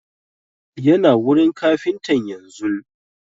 Yana wurin kafintan yanzun